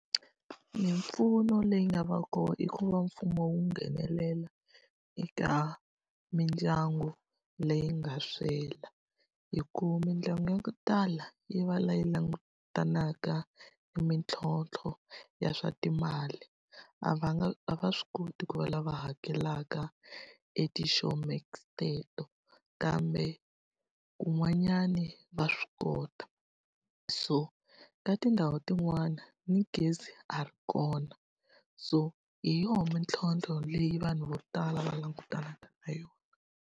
Mimpfuno leyi nga va kona i ku va mfumo wu nghenelela eka mindyangu leyi nga swela. Hi ku mindyangu yo tala yi va leyi langutanaka ni mitlhontlho ya swa timali, a va nga a va swi koti ku va lava hakelaka e ti-showmax teto. Kambe kun'wanyani va swi kota. So ka tindhawu tin'wani ni gezi a ri kona, so hi yona mintlhontlho leyi vanhu vo tala va langutanaka na yona.